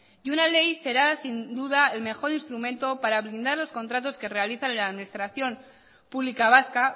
y una ley será sin duda el mejor instrumento para blindar los contratos que realizan en la administración pública vasca